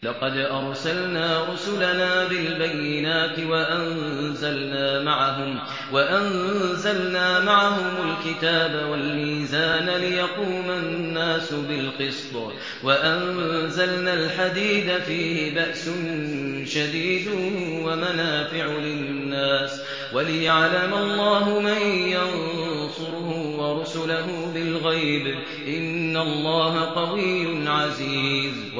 لَقَدْ أَرْسَلْنَا رُسُلَنَا بِالْبَيِّنَاتِ وَأَنزَلْنَا مَعَهُمُ الْكِتَابَ وَالْمِيزَانَ لِيَقُومَ النَّاسُ بِالْقِسْطِ ۖ وَأَنزَلْنَا الْحَدِيدَ فِيهِ بَأْسٌ شَدِيدٌ وَمَنَافِعُ لِلنَّاسِ وَلِيَعْلَمَ اللَّهُ مَن يَنصُرُهُ وَرُسُلَهُ بِالْغَيْبِ ۚ إِنَّ اللَّهَ قَوِيٌّ عَزِيزٌ